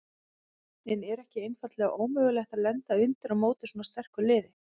En er ekki einfaldlega ómögulegt að lenda undir á móti svona sterku liði?